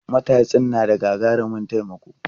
Matatsin na da gagarumin taimako.